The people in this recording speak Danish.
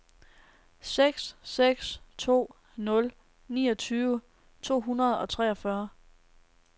seks seks to nul niogtyve to hundrede og treogfyrre